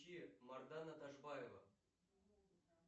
мардана ташбаева